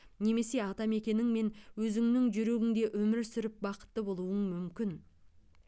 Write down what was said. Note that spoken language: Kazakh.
немесе атамекеніңмен өзіңнің жүрегіңде өмір сүріп бақытты болуың мүмкін